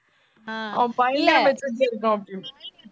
அவன் பயங்கர maturity அ இருக்கான் அப்பிடி